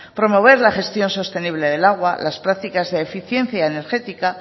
promover la gestión sostenible del agua las prácticas de eficiencia energética